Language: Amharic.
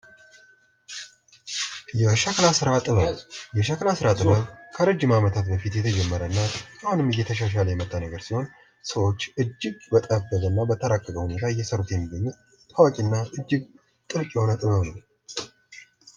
የሸክላ ስራ ጥበብ፦ የሸክላ ስራ ጥበብ ከረጅም ዓመት በፊት የተጀመረና አሁንም እየተሻሻለ የመጣ ነገር ሲሆን ሰዎች እጅግ በተራቀቀ ሁኔታ እየሰሩት የሚገኙት ታዋቂና እጅግ ጥልቅ የሆነ ጥበብ ነው።